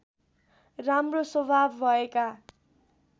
राम्रो स्वभाव भएका